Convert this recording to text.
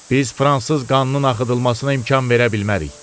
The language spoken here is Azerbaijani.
Biz fransız qanının axıdılmasına imkan verə bilmərik.